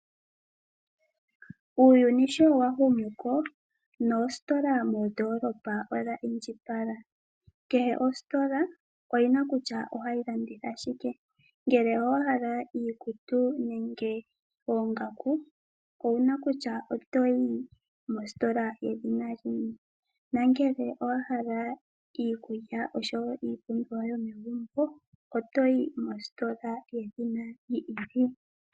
Uuyini showahumuko, noositola moondolopa odha indjipala. Kehe ositola oyi na kutya ohayi landitha shike. Ngele owahala iikutu nenge oongaku, owuna kutya otoyi mositola yedhina lini. Ngele owahala iikulya osho woo iipumbiwa yomegumbo otoyi mositola yedhina lini.